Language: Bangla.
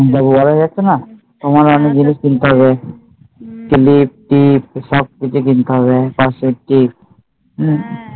হম বাবু বড় হয়ে যাচ্ছে না। তোমারও কিছু জিনিস কিনতে হবে কিলিপ, টিপ সবকিছু কিনতে হবে